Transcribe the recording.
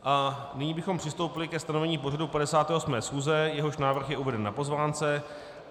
A nyní bychom přistoupili ke stanovení pořadu 58. schůze, jehož návrh je uveden na pozvánce.